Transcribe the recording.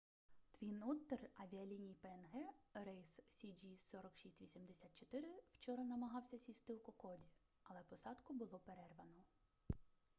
твін оттер авіаліній пнг рейс cg4684 вчора намагався сісти у кокоді але посадку було перервано